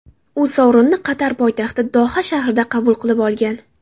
U sovrinni Qatar poytaxti Doha shahrida qabul qilib olgan.